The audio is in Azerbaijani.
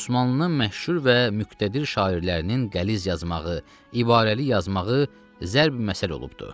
Osmanlının məşhur və müqtədir şairlərinin qəliz yazmağı, ibarəli yazmağı zərbi-məsəl olubdur.